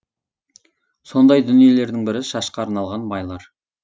сондай дүниелердің бірі шашқа арналған майлар